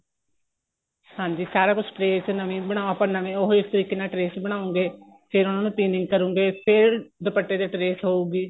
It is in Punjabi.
ਹਾਂਜੀ ਸਾਰਾ ਕੁੱਝ trace ਨਵੀ ਬਣਾਉ ਆਪਾਂ ਨਵੇ ਉਹ ਇਸ ਤਰੀਕੇ ਨਾਲ trace ਬਣਾਉਗੇ ਫੇਰ ਉਹਨਾ ਨੂੰ ਕਰੋਂਗੇ ਫੇਰ ਦੁਪੱਟੇ ਤੇ trace ਹੋਊਗੀ